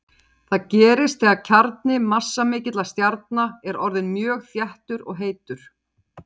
Það gerist þegar kjarni massamikilla stjarna er orðinn mjög þéttur og heitur.